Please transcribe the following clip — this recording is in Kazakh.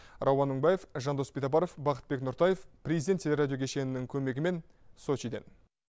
рауан мыңбаев жандос битабаров бақытбек нұртаев президент телерадио кешенінің көмегімен сочиден